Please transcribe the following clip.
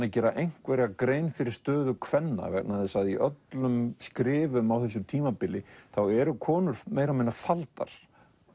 að gera einhverja grein fyrir stöðu kvenna vegna þess að í öllum skrifum á þessu tímabili eru konur meira og minna faldar